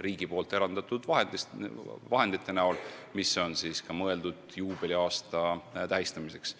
riigi eraldatud vahendite toel, mis on mõeldud juubeliaasta tähistamiseks.